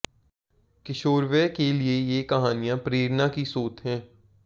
किशोरवय के लिए ये कहानियां प्रेरणा की स्रोत हैं